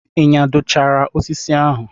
Ị nyadochara osisi ahụ?